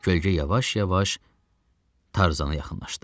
Kölgə yavaş-yavaş Tarzana yaxınlaşdı.